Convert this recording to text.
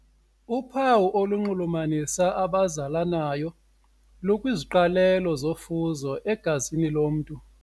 Uphawu olunxulumanisa abazalanayo lukwiziqalelo zofuzo egazini lomntu.